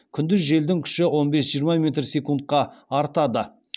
күндіз желдің күші он бес жиырма метр секундқа артады